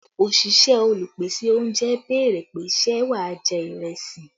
Òṣìṣẹ́ Olùpèsè oúnjẹ béèrè pé ṣe wà jẹ́ ìrẹsì?